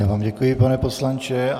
Já vám děkuji, pane poslanče.